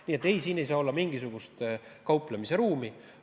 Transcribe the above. Nii et siin ei saa olla mingisugust kauplemise ruumi.